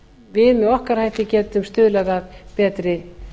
við með okkar hætti getum stuðlað að betri